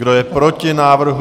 Kdo je proti návrhu?